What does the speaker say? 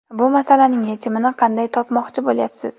Bu masalaning yechimini qanday topmoqchi bo‘lyapsiz?